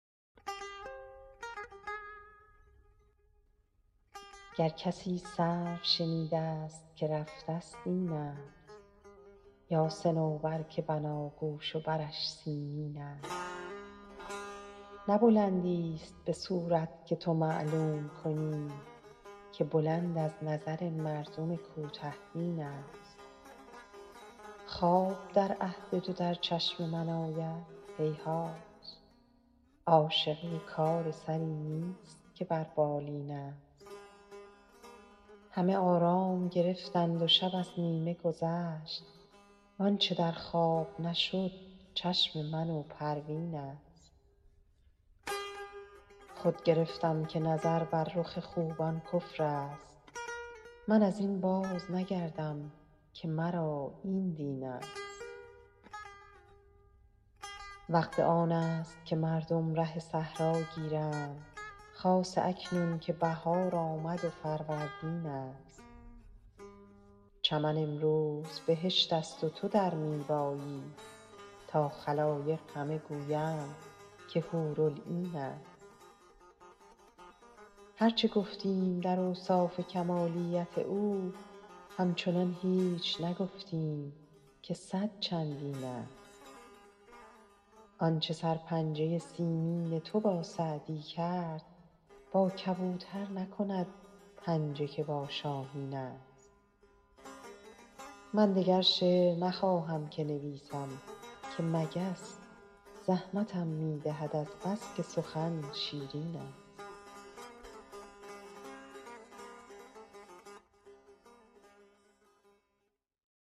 گر کسی سرو شنیده ست که رفته ست این است یا صنوبر که بناگوش و برش سیمین است نه بلندیست به صورت که تو معلوم کنی که بلند از نظر مردم کوته بین است خواب در عهد تو در چشم من آید هیهات عاشقی کار سری نیست که بر بالین است همه آرام گرفتند و شب از نیمه گذشت وآنچه در خواب نشد چشم من و پروین است خود گرفتم که نظر بر رخ خوبان کفر است من از این بازنگردم که مرا این دین است وقت آن است که مردم ره صحرا گیرند خاصه اکنون که بهار آمد و فروردین است چمن امروز بهشت است و تو در می بایی تا خلایق همه گویند که حورالعین است هر چه گفتیم در اوصاف کمالیت او همچنان هیچ نگفتیم که صد چندین است آنچه سرپنجه سیمین تو با سعدی کرد با کبوتر نکند پنجه که با شاهین است من دگر شعر نخواهم که نویسم که مگس زحمتم می دهد از بس که سخن شیرین است